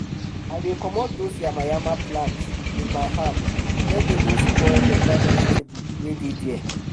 i dey comot dose yama yama plant with my hand make dem no spoil beta vegetable wey dey there